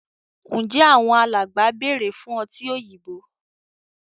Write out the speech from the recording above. Njé Àwọn alàgbà bẹrẹ fún ọtí òyìnbó?